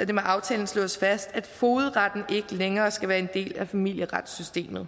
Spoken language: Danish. at det med aftalen slås fast at fogedretten ikke længere skal være en del af familieretssystemet